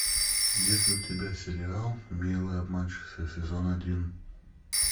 есть ли у тебя сериал милые обманщицы сезон один